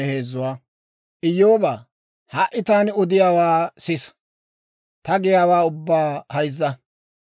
«Iyyoobaa, ha"i taani odiyaawaa sisa; ta giyaawaa ubbaa hayzza.